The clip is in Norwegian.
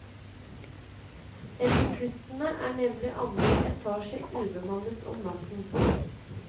Etter kuttene er nemlig andre etasje ubemannet om natten.